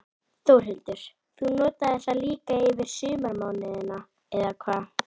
Þórhildur: Þú notar það líka yfir sumarmánuðina, eða hvað?